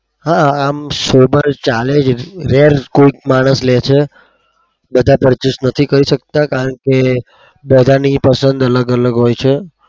હા આમ sober ચાલે છે. were માણસ લે છે, બધા purchase નથી કરી શકતા.